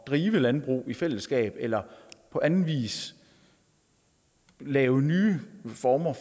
drive landbrug i fællesskab eller på anden vis lave nye former